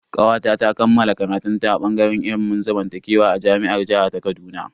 Kawata ta kammala karatun ta a bangaren ilimin zamantakewa a jami'ar jiha ta Kaduna.